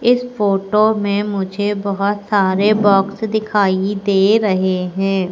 इस फोटो में मुझे बहोत सारे बॉक्स दिखाई दे रहें हैं।